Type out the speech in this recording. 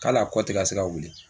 K'a hali a kɔ tɛ ka se ka wili